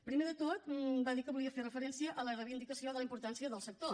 primer de tot va dir que volia fer referència a la reivindicació de la importància del sector